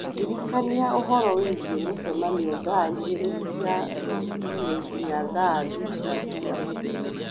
ndirikania uhoro wigiĩ mũcemanio thaa igĩrĩ cia rũciinĩ nginya thaa thita cia mũthenya